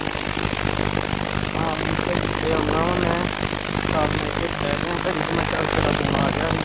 ਹਾਂ ਹੁਣ ਘੁਮ ਕੇ ਆਉਣਾ ਵਾਂ ਮੈਂ ਤਦ ਮੈਂ ਇੱਥੇ ਬੈਠ ਗਿਆ ਘੜੀ ਤੇਰਾ phone ਆ ਗਿਆ ਸੀ